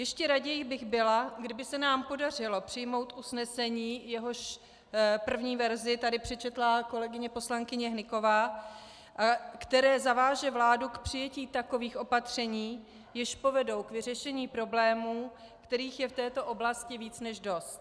Ještě raději bych byla, kdyby se nám podařilo přijmout usnesení, jehož první verzi tady přečetla kolegyně poslankyně Hnyková, které zaváže vládu k přijetí takových opatření, jež povedou k vyřešení problémů, kterých je v této oblasti více než dost.